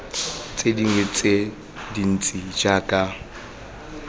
tse dingwe tse dintsi jaaka